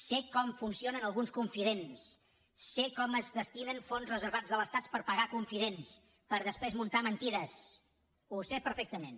sé com funcionen alguns confidents sé com es destinen fons reservats de l’estat per pagar confidents per després muntar mentides ho sé perfectament